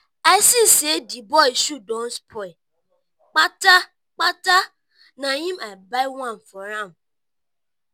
i see sey di boy shoe don spoil kpata-kpata na im i buy one for am.